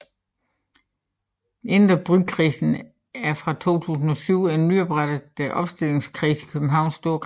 Indre Bykredsen er fra 2007 en nyoprettet opstillingskreds i Københavns Storkreds